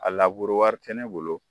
A laburu wari tɛ ne bolo.